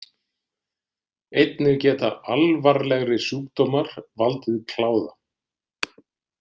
Einnig geta alvarlegri sjúkdómar valdið kláða.